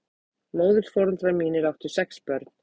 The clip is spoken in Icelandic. Móðurforeldrar mínir áttu sex börn.